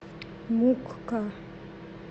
мукка